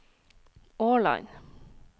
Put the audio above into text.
Årland